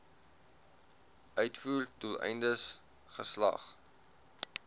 uitvoer doeleindes geslag